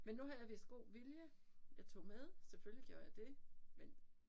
Men nu har jeg vist god vilje jeg tog med selvfølgelig gjorde jeg det men